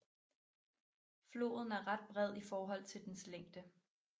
Floden er ret bred i forhold til dens længde